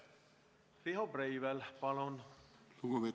Riho Breivel, palun!